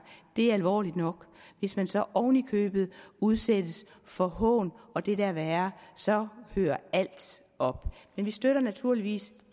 er alvorligt nok hvis man så oven i købet udsættes for hån og det der er værre så hører alt op men vi støtter naturligvis